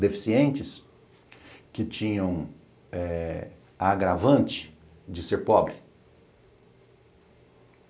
Deficientes que tinham eh a agravante de ser pobre.